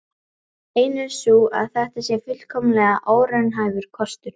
Ein er sú að þetta sé fullkomlega óraunhæfur kostur.